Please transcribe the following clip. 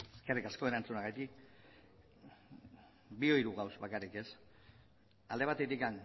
eskerrik asko erantzunagatik bi hiru gauza bakarrik ez alde batetik